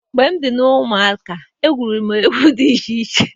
Mgbe m dị na nwata egwuru m egwu dị iche iche.